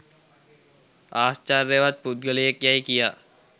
ආශ්චර්යවත් පුද්ගලයෙක් යැයි කියා